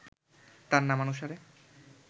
তাঁর নামানুসারে